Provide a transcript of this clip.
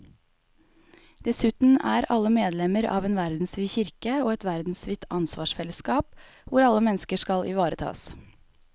Dessuten er alle medlemmer av en verdensvid kirke og et verdensvidt ansvarsfellesskap hvor alle mennesker skal ivaretas.